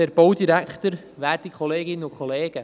Für die BDP Jan Gnägi.